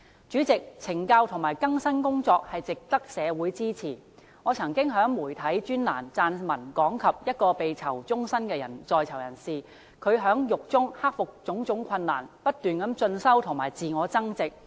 主席，懲教及更生工作值得社會支持，我曾經在媒體專欄撰文講及一位被判囚終身的人士在獄中克服種種困難，不斷進修及自我增值。